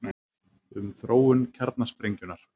Um þróun kjarnasprengjunnar: